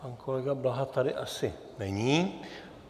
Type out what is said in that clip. Pan kolega Blaha tady asi není.